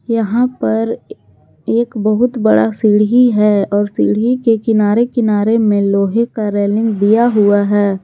यहां पर एक बहुत बड़ा सीढ़ी है और सीढ़ी के किनारे किनारे में लोहे का रेलिंग दिया हुआ है।